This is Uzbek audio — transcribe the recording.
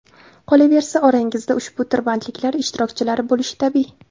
Qolaversa, orangizda ushbu tirbandliklar ishtirokchilari bo‘lishi tabiiy.